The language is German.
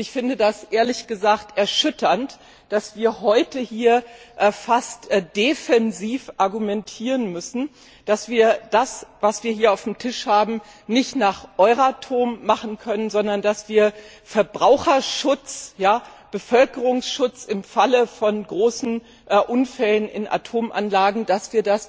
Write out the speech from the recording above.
Ich finde es ehrlich gesagt erschütternd, dass wir heute hier fast defensiv argumentieren müssen, dass wir das, was wir hier auf dem Tisch haben, nicht nach den Euratom Regeln machen können, sondern dass wir Verbraucherschutz, Bevölkerungsschutz im Falle von großen Unfällen in Atomanlagen,